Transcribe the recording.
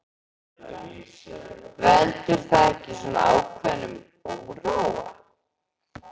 Veldur það ekki svona ákveðnum óróa?